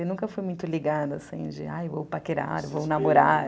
Eu nunca fui muito ligada, assim, de, ai, vou paquerar, vou namorar.